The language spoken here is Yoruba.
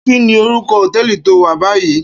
Kini órúkò hótèlí tó wá bàyí?